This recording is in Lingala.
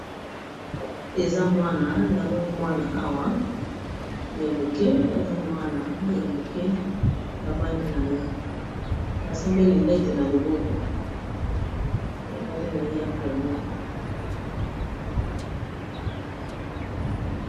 Eza mwana na moni mwana awa ya moke aza mwana ya moke avandi na ye asimbi lunette na loboko avandi na ye na famille.